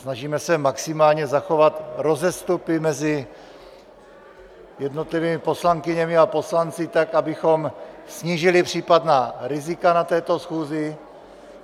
Snažíme se maximálně zachovat rozestupy mezi jednotlivými poslankyněmi a poslanci, tak abychom snížili případná rizika na této schůzi.